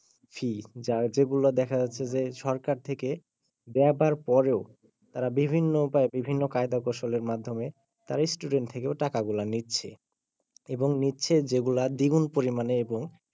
fee যেগুলো দেখে যাচ্ছে যে সরকার থেকে দেওয়ার পরেও তারা বিভিন্ন উপায় বিভিন্ন কায়দায় কৌশলের মাধ্যমে তারই student থেকে টাকা গুলা নিচ্ছে এবং নিচ্ছে যেগুলা দ্বিগুণ পরিমানে এবং,